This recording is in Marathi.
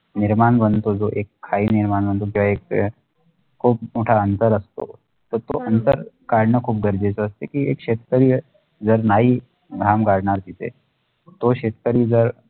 निर्माण वनतो जो एक high निर्माण वनतो जो एक खुप मोठा अंतर असतो तर तो अंतर काढणे खुप गरजीचे असतो कि एक शेतकरी जर नाही धान वडणार तिथे तो शेतकरी जर